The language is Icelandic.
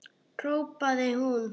hrópaði hún.